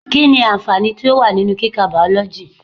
Kí ni àǹfààní tó wà nínú kika Bàọ́lọ́jì?